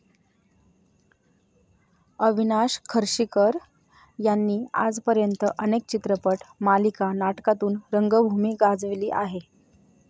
अविनाश खर्शीकर यांनी आजपर्यंत अनेक चित्रपट, मालिका, नाटकातून रंगभूमी गाजविली आहे.